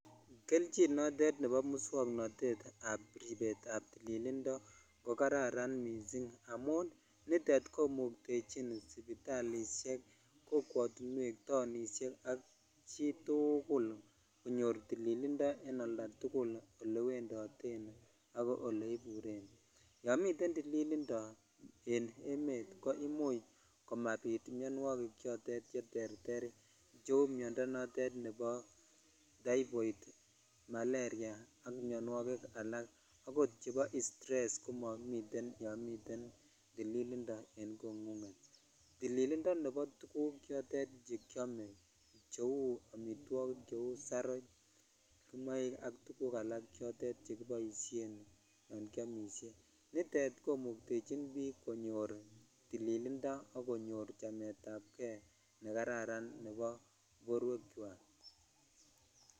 Kelchin notet nebo moswoknotet ab rebet ab tililindo ko kararan missing amun nitet komuktechin sipitalishek ,kokwotuwek, sipitalishek ak chitukul konuor tililindo en oltatukul olewendoten ak ole iburen yo miten tililindo en emet koimuch kobit mionwokik chotet cheterter kou miondoo otet nebo taiiboir ,maleria ak mionwokik alak akot chebo interested ko momiten yon miten tililindo en kongunget tililindo chebo tuguk choton chekiome cheu amitwokik cheu saroch kimoik ak tuguk alak chotet chekiboishen yon kiomishe nitet komuktechin biik konyor tililindo ak konyor chametak kei nekararan nebo borwek chwak.